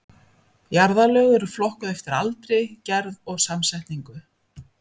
Jarðlög eru flokkuð eftir aldri, gerð og samsetningu.